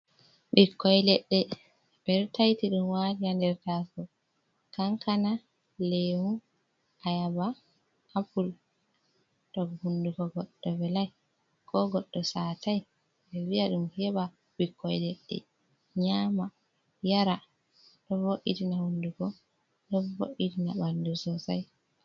Ɓikkoi ledde, ɓeɗo taiti ɗum waɗi ha nder taso, kankana, lemu, ayaba, apul, to hunduko goɗɗo velai ko goɗɗo satai vi'a ɗum heɓa ɓikkoi leɗɗe nyama yara, ɗo vo'itina hundugo do vo’itina bandu sosai.